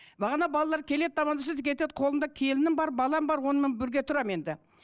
бағана балалар келеді амандасады кетеді қолымда келінім бар балам бар онымен бірге тұрамын енді